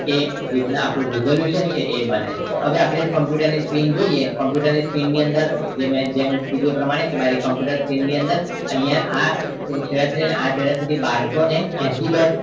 એ રીત ના આપણું resolution છે એ બને છે હવે આપણે computer ની screen જોઈએ computer screen નીઅંદર મેં જેમ કીધું એ પ્રમાણ કે મારી computer screen ની અંદર આ છેડા થી લઈને આ છેડા સુધી બારસો ને એંશી બાય